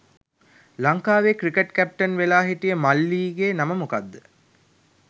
ලංකාවේ cricket captain වෙලා හිටිය මල්ලී ගේ නම මොකක්ද?